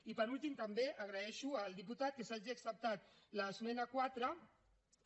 i per últim també agraeixo al diputat que s’hagi acceptat l’esmena quatre que